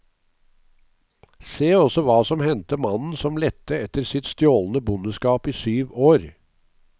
Se også hva som hendte mannen som lette etter sitt stjålne bondeskap i syv år.